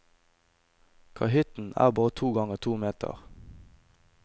Kahytten er bare to ganger to meter.